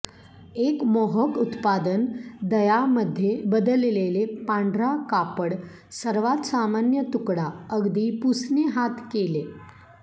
एक मोहक उत्पादन दया मध्ये बदललेले पांढरा कापड सर्वात सामान्य तुकडा अगदी पुसणे हात केले